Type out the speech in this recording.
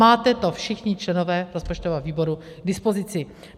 Máte to všichni členové rozpočtového výboru k dispozici.